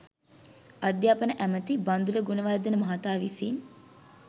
අධ්‍යාපන ඇමැති බන්දුල ගුණවර්ධන මහතා විසින්